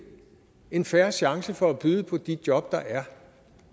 en fair chance for at byde på de job der er